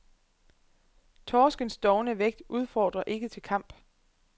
Torskens dovne vægt udfordrer ikke til kamp.